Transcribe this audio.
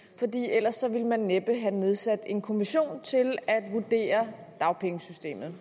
ellers ville man næppe have nedsat en kommission til at vurdere dagpengesystemet